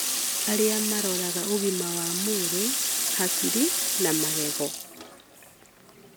arĩa maroraga ũgima wa mwĩrĩ, hakiri, na magego.